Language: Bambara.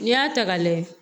N'i y'a ta ka lajɛ